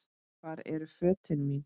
Hvar eru fötin mín.?